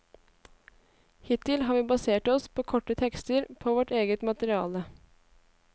Hittil har vi basert oss på korte tekster på vårt eget materiale.